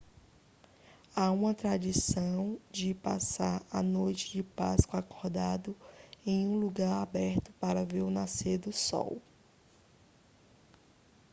há uma tradição de passar a noite de páscoa acordado em algum lugar aberto para ver o nascer do sol